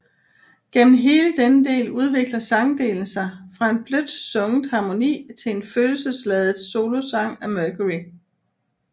Gennem hele denne del udvikler sangdelen sig fra en blødt sunget harmoni til en følelsesladet solosang af Mercury